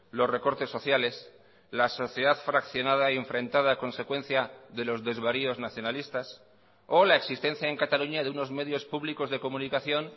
los recortes sociales la sociedad fraccionada y enfrentada a consecuencia de los desvaríos nacionalistas o la existencia en cataluña de unos medios públicos de comunicación